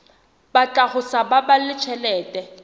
batla ho sa baballe tjhelete